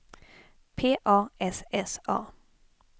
P A S S A